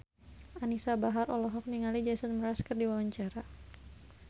Anisa Bahar olohok ningali Jason Mraz keur diwawancara